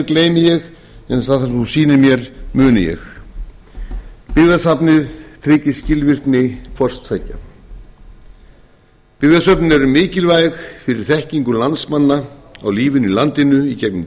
gleymi ég en það sem þú sýnir mér muni ég byggðasafnið tryggir skilvirkni hvors tveggja byggðasöfnin eru mikilvæg fyrir þekkingu landsmanna og lífið í landinu í gegnum